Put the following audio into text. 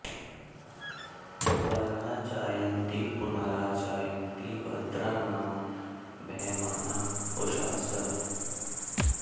परा॑ च॒ यन्ति॒ पुन॒रा च॑ यन्ति भ॒द्रा नाम॒ वह॑माना उ॒षासः॑